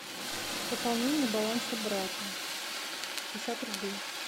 пополнение баланса брата шестьдесят рублей